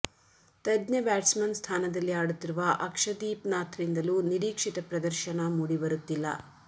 ತಜ್ಞ ಬ್ಯಾಟ್ಸ್ಮನ್ ಸ್ಥಾನದಲ್ಲಿ ಆಡುತ್ತಿರುವ ಅಕ್ಷದೀಪ್ ನಾಥ್ರಿಂದಲೂ ನಿರೀಕ್ಷಿತ ಪ್ರದರ್ಶನ ಮೂಡಿಬರುತ್ತಿಲ್ಲ